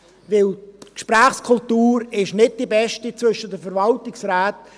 Denn die Gesprächskultur ist nicht die beste zwischen den Verwaltungsräten.